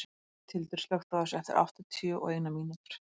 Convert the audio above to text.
Gauthildur, slökktu á þessu eftir áttatíu og eina mínútur.